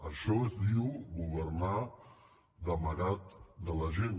això es diu governar d’amagat de la gent